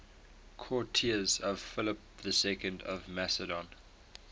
courtiers of philip ii of macedon